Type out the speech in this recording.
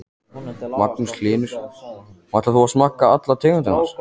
Magnús Hlynur: Og ætlar þú að smakka allar tegundirnar?